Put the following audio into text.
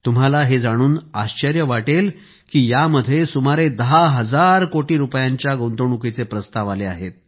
तुम्हाला हे जाणून आश्चर्य वाटेल की यामध्ये सुमारे दहा हजार कोटी रुपयांच्या गुंतवणुकीचे प्रस्ताव आले आहेत